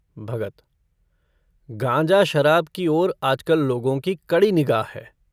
भगत - गांजा-शराब की ओर आज-कल लोगों की कड़ी निगाह है।